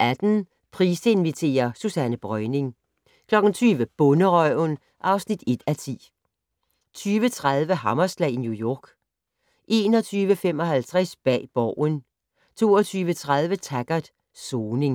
18:00: Price inviterer - Susanne Breuning 20:00: Bonderøven (1:10) 20:30: Hammerslag i New York 21:55: Bag Borgen 22:30: Taggart: Soning